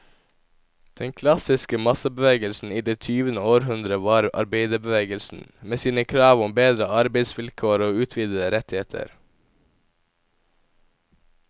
Den klassiske massebevegelsen i det tyvende århundre var arbeiderbevegelsen, med sine krav om bedre arbeidsvilkår og utvidede rettigheter.